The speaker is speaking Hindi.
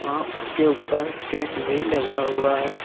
वहां उसके ऊपर टेंट भी लगा हुआ है।